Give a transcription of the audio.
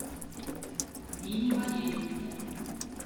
нине валерьевне